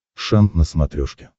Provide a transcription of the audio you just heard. шант на смотрешке